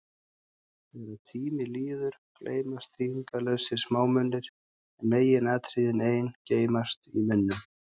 Þegar tími líður, gleymast þýðingarlausir smámunir, en meginatriðin ein geymast í minnum.